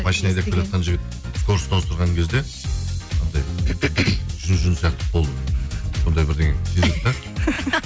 машина айдап келатқан жігіт скорості ауыстырған кезде анандай жүн жүн сияқты қолды сондай сезеді де